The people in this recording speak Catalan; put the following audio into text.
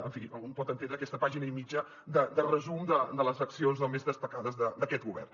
en fi un pot entendre aquesta pàgina i mitja de resum de les accions més destacades d’aquest govern